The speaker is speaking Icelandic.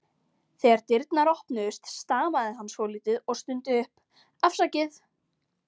Þegar dyrnar opnuðust stamaði hann svolítið og stundi upp: Afsakið